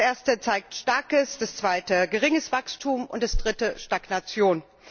Der erste zeigt starkes, der zweite geringes Wachstum und der dritte Stagnation.